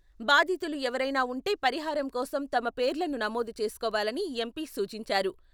బాధితులు ఎవరైనా ఉంటే పరిహారం కోసం తమ పేర్లను నమోదు చేసుకోవాలని ఎంపీ సూచించారు.